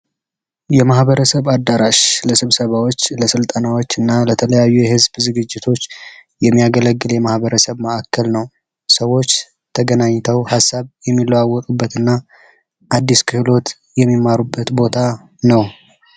የማህበረሰብ አዳራሽ ለስብሰባዎች ፣ለስልጠናዎች እና ለተለያዩ የህዝብ ዝግጅቶች የሚያገለግል የማህበረሰብ ማእከል ነው። ሰዎች ተገናኝተው ሀሳብ የሚለዋወጡበት እና አዲስ ክህሎት የሚማሩበት ቦታ ነው።